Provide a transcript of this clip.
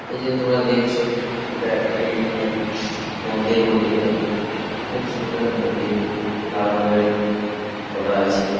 এই যে তোমরা দেখছো এটা একটি এখানে মন্দির বটে এটা খুব সুন্দর মন্দির। লাল রং এর করা আছে।